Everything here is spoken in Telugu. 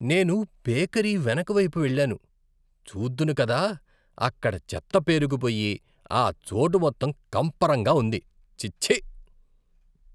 నేను బేకరీ వెనుకవైపు వెళ్లాను. చూద్దును కదా, అక్కడ చెత్త పేరుకుపోయి ఆ చోటు మొత్తం కంపరంగా ఉంది. ఛీఛీ!